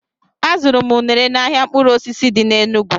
Azụrụ m unere n' ahịa mkpụrụ osisi dị n' Enugwu